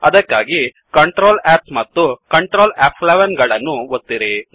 ಅದಕ್ಕಾಗಿ ctrl S ಮತ್ತು Ctrl ಫ್11 ಗಳನ್ನು ಒತ್ತಿರಿ